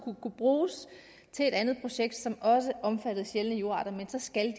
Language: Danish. bruges til et andet projekt som også omfatter sjældne jordarter men så skal